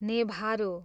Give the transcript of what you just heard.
नेभारो